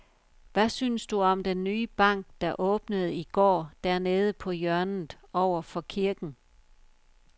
Hvad synes du om den nye bank, der åbnede i går dernede på hjørnet over for kirken?